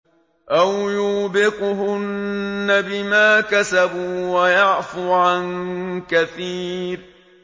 أَوْ يُوبِقْهُنَّ بِمَا كَسَبُوا وَيَعْفُ عَن كَثِيرٍ